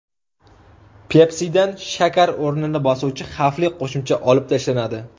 Pepsi’dan shakar o‘rnini bosuvchi xavfli qo‘shimcha olib tashlanadi.